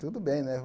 Tudo bem, né?